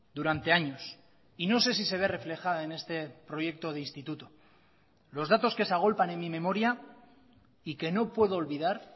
durante años y no sé si se ve reflejada en este proyecto de instituto los datos que se agolpan en mi memoria y que no puedo olvidar